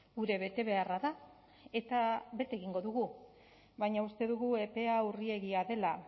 gure betebeharra da eta bete egingo dugu baina uste dugu epea urriegia dela